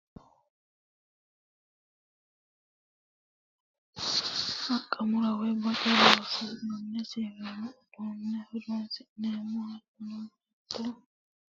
Haqa mure woyi bonce loosirate siwiilu uduune horonsi'neemmo hattono baatto qotisi'ne loosirate siwiilu uduune horonsi'neemmo hattono wole wole hajjubbara siwiilu hasiisanonke.